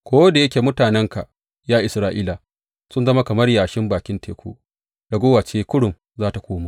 Ko da yake mutanenka, ya Isra’ila, sun zama kamar yashin bakin teku, raguwa ce kurum za tă komo.